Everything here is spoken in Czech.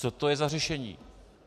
Co to je za řešení?